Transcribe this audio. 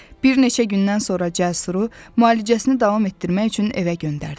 Bir neçə gündən sonra Cəsuru müalicəsini davam etdirmək üçün evə göndərdilər.